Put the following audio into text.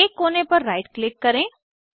किसी एक कोने पर राइट क्लिक करें